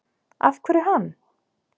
Af hverju hann?